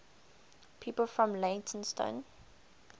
people from leytonstone